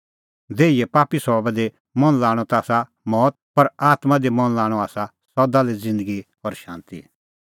देहीए पापी सभाबा दी मन लाणअ ता आसा मौत पर आत्मां दी मन लाणअ आसा सदा लै ज़िन्दगी और शांती